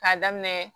K'a daminɛ